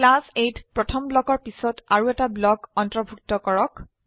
class Aত প্ৰথম ব্লকৰ পিছত আৰু এটা ব্লক অন্তৰ্ভুক্ত কৰক